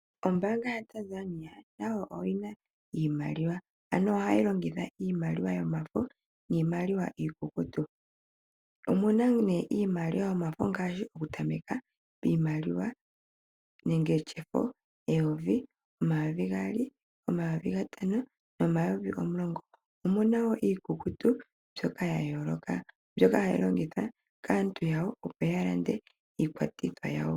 Ombaanga yaTanzania nayo oyina iimaliwa . Ohayi longitha iimaliwa yomafo niimaliwa iikukutu. Omu na iimaliwa yomafo ngaashi okuza peyovi ,omayovi gaali , omayovi gatano nomayovi omulongo . Omuna woo iikukutu mbyoka yayooloka mbyoka hayi longithwa kaantu yawo opo ya lande iinima yawo .